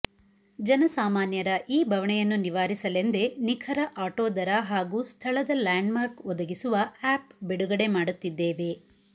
ಜನಸಾಮಾನ್ಯರ ಈ ಬವಣೆಯನ್ನು ನಿವಾರಿಸಲೆಂದೇ ನಿಖರ ಆಟೊ ದರ ಹಾಗೂ ಸ್ಥಳದ ಲ್ಯಾಂಡ್ಮಾರ್ಕ್ ಒದಗಿಸುವ ಆ್ಯಪ್ ಬಿಡುಗಡೆ ಮಾಡುತ್ತಿದ್ದೇವೆ